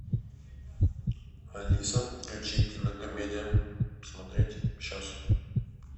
алиса включи кинокомедия смотреть сейчас